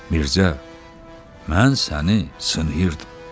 Mirzə, mən səni sınayırdım.